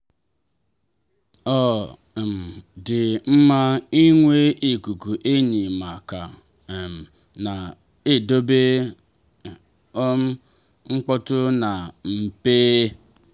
ọ um dị mma ịnwe ikuku enyi ma ka um na-edobe um mkpọtụ na mpe.